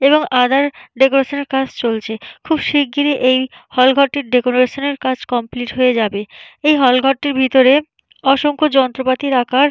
এবং আদার ডেকোরেশনের কাজ চলছে। খুব শিগগিরই এই হল ঘরটির ডেকোরেশন -এর কাজ কমপ্লিট হয়ে যাবে। এই হল -ঘরটির ভিতরে অসংখ্য যন্ত্রপাতির রাখার --